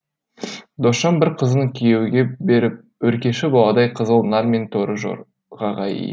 досжан бір қызын күйеуге беріп өркеші баладай қызыл нар мен торы жорғаға ие